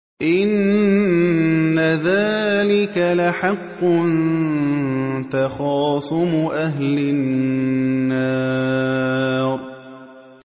إِنَّ ذَٰلِكَ لَحَقٌّ تَخَاصُمُ أَهْلِ النَّارِ